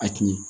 A tun ɲɛ